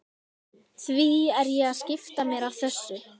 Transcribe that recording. Því er ég að skipta mér af þessu?